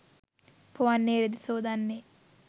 පොවන්නේ රෙදි සෝදන්නේ